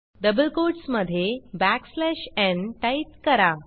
double quotes मध्ये backslash n type करा